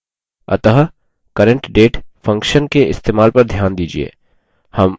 अतः current _ date function के इस्तेमाल पर ध्यान दीजिये